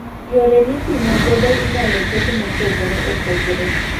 Yore mipimo godo inyalo ket mopogre opogre